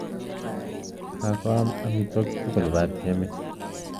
Kakoam omotwokik tugul batiemit?